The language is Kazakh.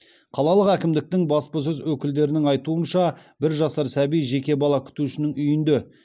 қалалық әкімдіктің баспасөз өкілдерінің айтуынша бір жасар сәби жеке бала күтушінің үйінде